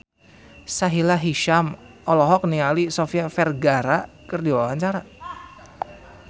Sahila Hisyam olohok ningali Sofia Vergara keur diwawancara